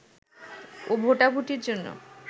ও ভোটাভুটির জন্য